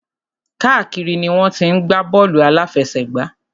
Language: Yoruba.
Káàkiri ni wọ́n ti ń gbá bọ́ọ̀lù àláfẹsẹ̀gbá.